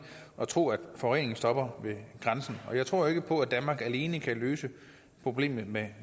at tro at forureningen stopper ved grænsen og jeg tror ikke på at danmark alene kan løse problemet med